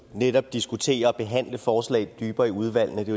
netop at diskutere og forhandle forslag dybere i udvalgene det